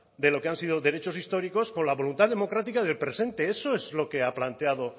de lo que han sido derechos históricos con la voluntad democrática del presente eso es lo que ha planteado